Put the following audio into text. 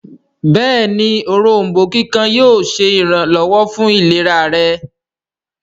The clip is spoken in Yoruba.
béèni Òrombó kíkan yíò ṣe iranlọwọ fún ìlera rẹ.